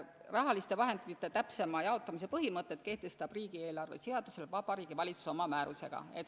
Rahaliste vahendite täpsema jaotamise põhimõtted kehtestab riigieelarve seaduse alusel Vabariigi Valitsus oma määrusega.